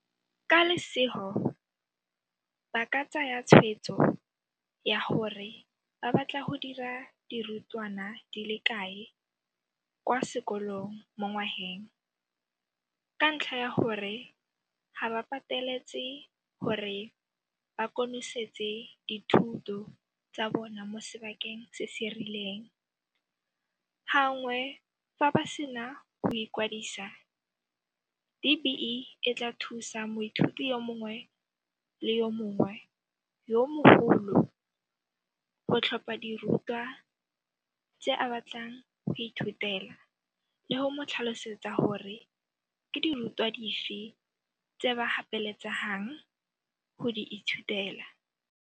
Ka lesego, ba ka tsaya tshwetso ya gore ba batla go dira dirutwana di le kae kwa sekolong mongwageng ka ntlha ya gore ga ba pateletse gore ba konosetse dithuto tsa bona mo sebakeng se se rileng. Gangwe fa ba sena go ikwadisa, DBE e tla thusa moithuti yo mongwe le yo mongwe yo mogolo go tlhopha dirutwa tse a batlang go di ithutela le go mo tlhalosetsa gore ke dirutwa dife tse ba gapeletsegang go di ithutela.